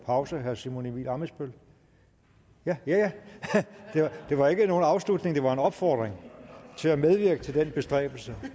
pause herre simon emil ammitzbøll ja ja det var ikke nogen afslutning det var en opfordring til at medvirke i den bestræbelse